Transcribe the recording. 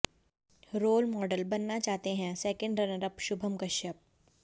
role model बनना चाहते हैं सेकेंड रनरअप शुभम कश्यप